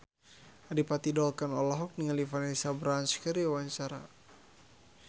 Adipati Dolken olohok ningali Vanessa Branch keur diwawancara